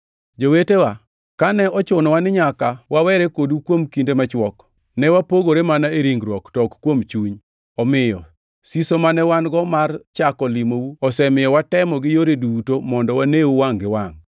Jowetewa, kane ochunowa ni nyaka wawere kodu kuom kinde machwok (ne wapogore mana e ringruok to ok kuom chuny), omiyo siso mane wan-go mar chako limou osemiyo watemo gi yore duto mondo waneu wangʼ gi wangʼ.